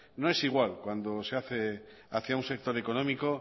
no es igual cuando se hace hacia un sector económico